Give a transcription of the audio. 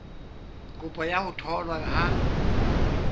kopo ya ho tholwa ha